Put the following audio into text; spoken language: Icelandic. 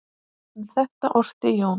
Um þetta orti Jón